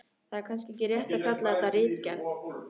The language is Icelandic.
Það er kannski ekki rétt að kalla þetta ritgerð.